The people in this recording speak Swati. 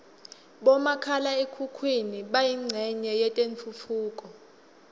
bomakhala khukhwini bayincenye yetentfutfuko